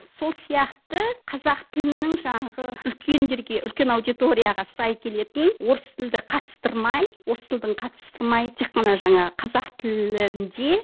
сол сияқты қазақ тілінің жаңағы үлкендерге үлкен аудиторияға сай келетін орыс тілді қатыстырмай орыс тілін қатыстырмай тек қана жаңағы қазақ тілінде